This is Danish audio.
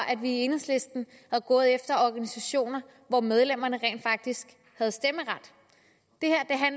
at vi i enhedslisten var gået efter organisationer hvor medlemmerne rent faktisk har stemmeret det her